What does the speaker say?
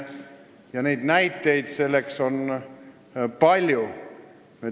Ja näiteid selle kohta on palju.